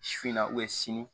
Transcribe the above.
Su in na sini